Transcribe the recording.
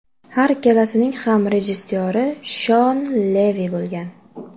Har ikkalasining ham rejissyori Shon Levi bo‘lgan.